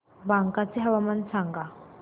बांका चे हवामान सांगा